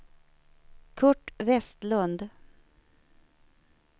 Kurt Westlund